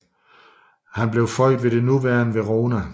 Han blev født ved det nuværende Verona